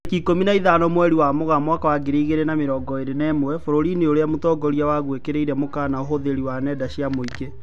Tarĩki ikũmi na ithano mweri wa Mũgaa mwaka wa ngiri igĩrĩ na mĩrongo ĩrĩ na ĩmwe, bũrũri-inĩ ũrĩa mũtongoria waguo ekĩrirĩre mũkana ũhũthĩri wa nenda cia mũingĩ